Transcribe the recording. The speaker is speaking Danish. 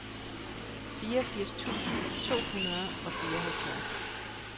fireogfirs tusind to hundrede og fireoghalvfjerds